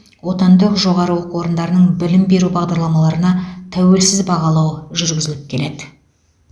отандық жоғары оқу орындарының білім беру бағдарламаларына тәуелсіз бағалау жүргізіліп келеді